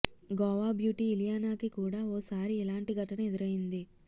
Goa beauty ఇలియానాకి కూడా ఓసారి ఇలాంటి ఘటన ఎదురైంది